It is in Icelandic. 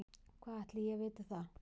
Hvað ætli ég viti það.